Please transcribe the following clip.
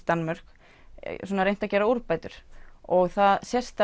Danmörk reynt að gera úrbætur og það sést